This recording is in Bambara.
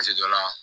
dɔ la